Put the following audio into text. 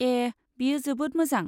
ए, बेयो जोबोद मोजां।